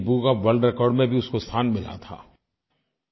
Guinness book of world records में भी उसको स्थान मिला था